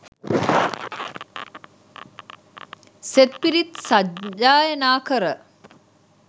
සෙත් පිරිත් සජ්ඣායනා කර